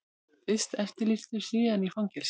Fyrst eftirlýstur, síðan í fangelsi.